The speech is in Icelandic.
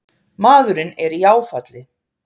Maðurinn er í áfalli